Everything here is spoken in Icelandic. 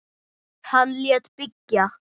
Hann lét byggja